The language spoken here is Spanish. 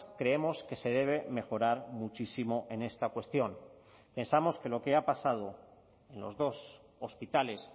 creemos que se debe mejorar muchísimo en esta cuestión pensamos que lo que ha pasado en los dos hospitales